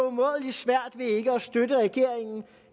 umådelig svært ved ikke at støtte regeringen